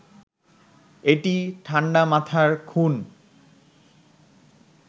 এটি ঠাণ্ডা মাথার খুন